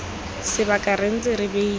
sebaka re ntse re beile